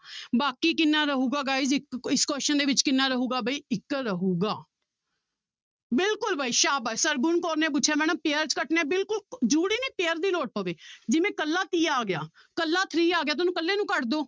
ਬਾਕੀ ਕਿੰਨਾ ਰਹੇਗਾ guys ਇੱਕ ਇਸ question ਦੇ ਵਿੱਚ ਕਿੰਨਾ ਰਹੇਗਾ ਬਾਈ ਇੱਕ ਰਹੇਗਾ ਬਿਲਕੁਲ ਬਾਈ ਸਾਬਾਸ਼ ਸਰਗੁਣ ਕੌਰ ਨੇ ਪੁੱਛਿਆ madam pairs ਕੱਟਣੇ ਆਂ ਬਿਲਕੁਲ ਜ਼ਰੂਰੀ ਨੀ pair ਦੀ ਲੋੜ ਪਵੇ ਜਿਵੇਂ ਇਕੱਲਾ ਤੀਆ ਆ ਗਿਆ ਇਕੱਲਾ three ਆ ਗਿਆ ਤਾਂ ਉਹਨੂੰ ਇਕੱਲੇ ਨੂੰ ਕੱਟ ਦਓ।